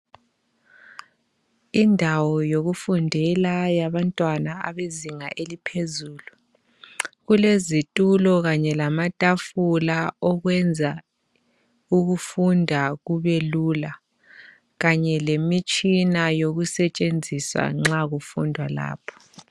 Indawo yokufundela yabantwana abezinga eliphezulu kulezitulo kanye lamatafula okwenza ukufunda kubelula kanye lemitshina yokusetshenziswa nxa kufundwa lapho.